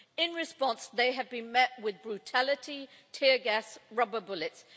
In response, they have been met with brutality, tear gas and rubber bullets.